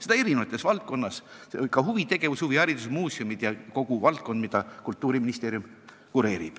Seda eri valdkondades: nimetan huvitegevust, huviharidust, muuseume ja üldse kogu valdkonda, mida Kultuuriministeerium kureerib.